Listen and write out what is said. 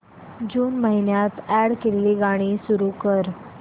जून महिन्यात अॅड केलेली गाणी सुरू कर